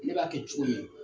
Ne b'a kɛ cogo min